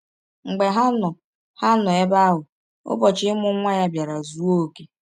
“ Mgbe ha nọ ha nọ ebe ahụ, ụbọchị imụ nwa ya biara zụọ ọke.